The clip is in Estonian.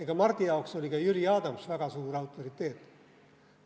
Ja Mardi jaoks oli ka Jüri Adams väga suur autoriteet.